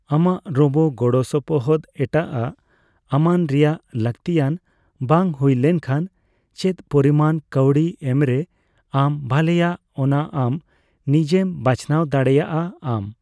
ᱟᱢᱟᱜ ᱨᱳᱵᱳ ᱜᱚᱲᱚᱥᱚᱯᱚᱦᱚᱫ ᱮᱴᱟᱜ ᱟᱜ ᱟᱢᱟᱱ ᱨᱮᱭᱟᱜ ᱞᱟᱹᱜᱛᱤᱭᱟᱱ ᱵᱟᱝ ᱦᱩᱭ ᱞᱮᱱᱠᱷᱟᱱ ᱪᱮᱫ ᱯᱚᱨᱤᱢᱟᱱ ᱠᱟᱣᱰᱤ ᱮᱢ ᱨᱮ ᱟᱢ ᱵᱷᱟᱞᱮᱭᱟᱜ ᱚᱱᱟ ᱟᱢ ᱱᱤᱡᱮᱣ ᱵᱟᱪᱱᱟᱣ ᱫᱟᱲᱮᱭᱟᱜ ᱟᱢ ᱾